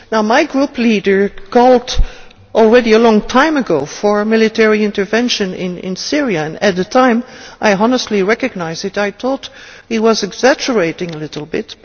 My group leader called a long time ago for a military intervention in Syria, and at the time I honestly recognise it I thought he was exaggerating a little bit.